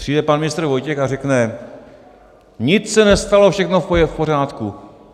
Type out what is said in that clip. Přijde pan ministr Vojtěch a řekne: nic se nestalo, všechno je v pořádku.